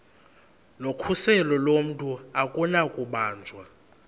nokhuseleko lomntu akunakubanjwa